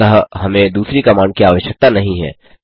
अतः हमें दूसरी कमांड की आवश्यकता नहीं है